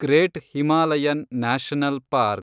great Himalayan national park